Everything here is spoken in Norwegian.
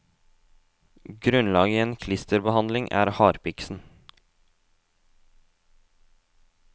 Grunnlaget i en klisterblanding er harpiksen.